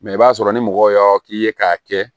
i b'a sɔrɔ ni mɔgɔ y'a k'i ye k'a kɛ